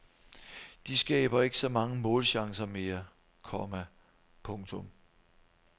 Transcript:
De skaber ikke så mange målchancer mere, komma . punktum